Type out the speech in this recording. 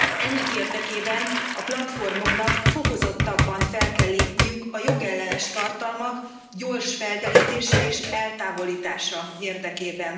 Ennek érdekében a platformoknak fokozottabban fel kell lépniük a jogellenes tartalmak gyors felderítése és eltávolítása érdekében.